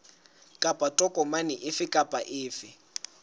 kapa tokomane efe kapa efe